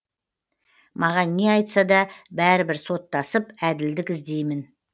маған не айтса да бәрібір соттасып әділдік іздеймін